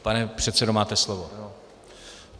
Pane předsedo, máte slovo.